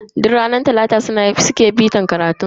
Duk ranar talata suke bitar karatunsu